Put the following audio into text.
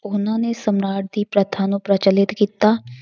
ਉਹਨਾਂ ਨੇ ਸਮਰਾਟ ਦੀ ਪ੍ਰਥਾ ਨੂੰ ਪ੍ਰਚਲਿਤ ਕੀਤਾ।